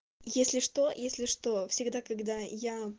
если что если что всегда когда я